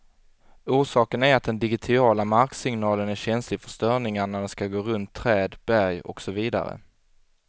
Orsaken är att den digitiala marksignalen är känslig för störningar när den skall gå runt träd, berg och så vidare.